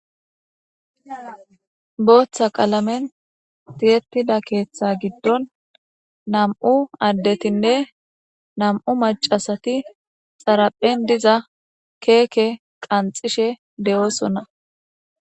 Booththa qalamen tiyettida keeththa giddon nam'u addetinne nam'u macasati xaraphen diza keeke qanxishe de7oosonna.